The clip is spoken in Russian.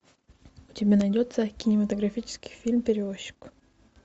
у тебя найдется кинематографический фильм перевозчик